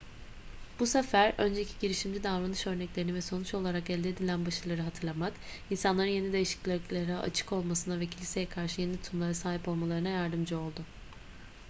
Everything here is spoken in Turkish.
bu sefer önceki girişimci davranış örneklerini ve sonuç olarak elde edilen başarıları hatırlamak insanların yeni değişikliklere açık olmasına ve kiliseye karşı yeni tutumlara sahip olmalarına yardımcı oldu